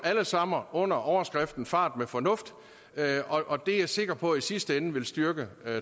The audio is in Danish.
alle sammen under overskriften fart med fornuft og det er jeg sikker på i sidste ende vil styrke